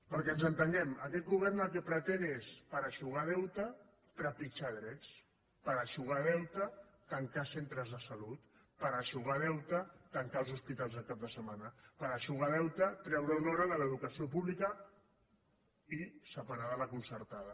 perquè ens entenguem aquest govern el que pretén és per eixugar deute trepitjar drets per eixugar deute tancar centres de salut per eixugar deute tancar els hospitals el cap de setmana per eixugar deute treure una hora de l’educació pública i separada la concertada